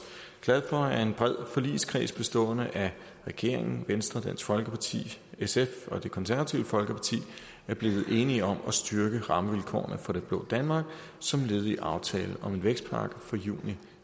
glad for at en bred forligskreds bestående af regeringen venstre dansk folkeparti sf og det konservative folkeparti er blevet enige om at styrke rammevilkårene for det blå danmark som led i aftale om en vækstpakke fra juni